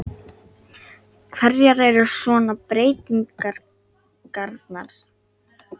Hverjar eru svona breytingarnar?